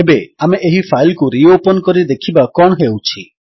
ଏବେ ଆମେ ଏହି ଫାଇଲ୍ କୁ ରିଓପନ୍ କରି ଦେଖିବା କଣ ହେଉଛି